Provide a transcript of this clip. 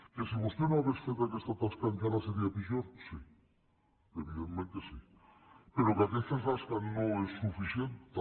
que si vostè no hagués fet aquesta tasca encara seria pitjor sí evidentment que sí però que aquesta tasca no és suficient també